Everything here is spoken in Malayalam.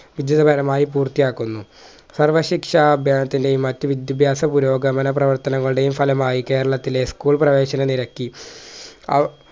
വിജയകരമായി പൂർത്തിയാക്കുന്നു സർവശിക്ഷാ അധ്യയനത്തിന്റെയും മറ്റ് വിദ്യഭ്യാസ പുരോഗമന പ്രവർത്തനങ്ങളുടെയും ഫലമായി കേരളത്തിലെ school പ്രേവേശന നിരക്കി ആ